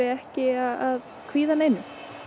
ekki að kvíða neinu